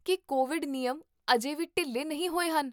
ਕੀ COVID ਨਿਯਮ ਅਜੇ ਵੀ ਢਿੱਲੇ ਨਹੀਂ ਹੋਏ ਹਨ?